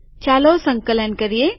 ચાલો સંકલન કરીએ